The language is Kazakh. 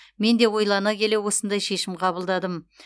мен де ойлана келе осындай шешім қабылдадым